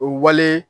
O wale